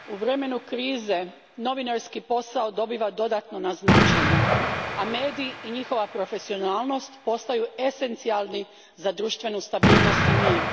Gospođo predsjednice, u vremenu krize novinarski posao dobiva dodatno na značenju, a mediji i njihova profesionalnost postaju esencijalni za društvenu stabilnost i mir.